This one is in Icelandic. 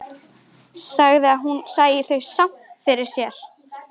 Sagði að hún sæi þau samt fyrir sér.